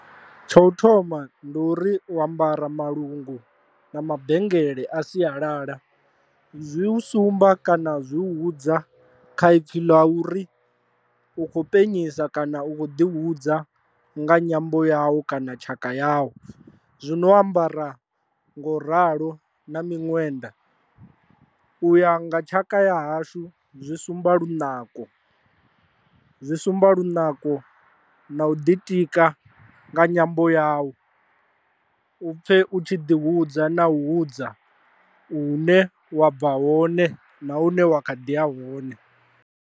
Tsha u thoma ndi uri u ambara malungu na mabengele a sialala, zwi u sumba kana zwi u hudza kha ipfhi ḽa uri u khou penyisa kana u khou ḓi hudza nga nyambo yau kana tshaka yau. Zwino ambara ngo ralo na miṅwenda u ya nga tshaka ya hashu zwi sumba lunako zwi sumba lunako na u ḓitika nga nyambo yawu u pfhe u tshi ḓi hudza na hudza hune wa bva hone na hune wa kha ḓi ya hone.